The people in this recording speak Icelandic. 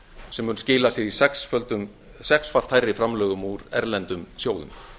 sem mun skila sér í sexfalt hærri framlögum úr erlendum sjóðum